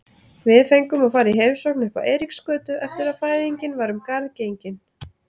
Við fengum að fara í heimsókn uppá Eiríksgötu eftir að fæðingin var um garð gengin.